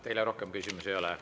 Teile rohkem küsimusi ei ole.